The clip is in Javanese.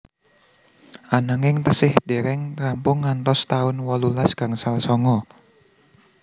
Ananging tasih dereng rampung ngantos taun wolulas gangsal songo